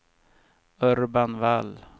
Urban Wall